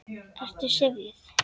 Ertu svona syfjuð?